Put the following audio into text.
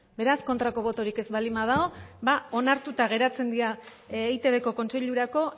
beraz kontrako botorik ez baldin badago ba onartuta geratzen dira eitbko kontseilurako